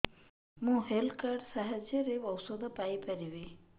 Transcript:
ମୁଁ health card ସାହାଯ୍ୟରେ ଔଷଧ ପାଇ ପାରିବି